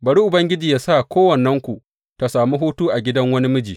Bari Ubangiji yă sa kowannenku ta sami hutu a gidan wani miji.